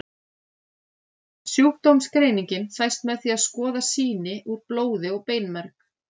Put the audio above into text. Sjúkdómsgreiningin fæst með því að skoða sýni úr blóði og beinmerg.